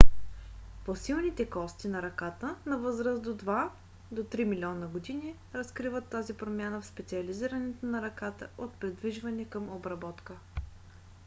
фосилните кости на ръката на възраст от два до три милиона години разкриват тази промяна в специализирането на ръката от придвижване към обработка